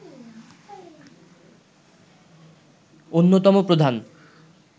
অন্যতম প্রধান